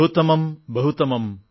ബഹൂത്തമം ബഹൂത്തമം